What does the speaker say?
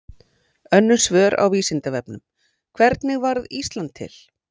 Önnur svör á Vísindavefnum: Hvernig varð Ísland til?